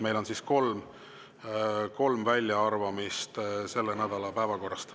Meil on siis kolm väljaarvamist selle nädala päevakorrast.